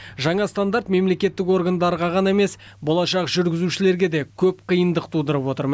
жаңа стандарт мемлекеттік органдарға ғана емес болашақ жүргізушілерге де көп қиындық тудырып отыр